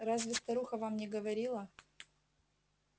разве старуха вам не говорила